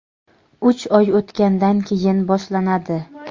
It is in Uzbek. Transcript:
uch oy o‘tgandan keyin boshlanadi.